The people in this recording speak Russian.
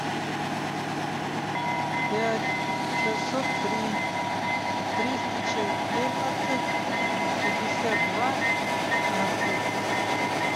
пять шестьсот три триста четырнадцать пятьдесят два пятнадцать